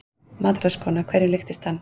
MATRÁÐSKONA: Hverju líktist hann?